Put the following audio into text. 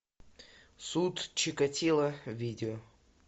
суд чикатило видео